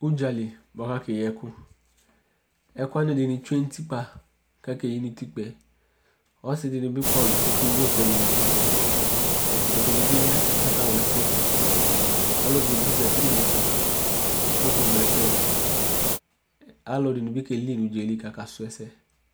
udzali buakʋ akeyiɛkʋ ɛkʋwadini tsʋe nʋtikpa kakeyi nutikpaɛ ɔsidinibi kɔlʋ kakewʋ ɛkʋɛdi nʋtikpaɛ ɛdinibiya kakawla ɛsɛdu ɔlʋɛdibi zati nu motoava kʋ ekeɣlo ɛkʋɛdi alʋɛdinibi kelii kakasʋɛsɛ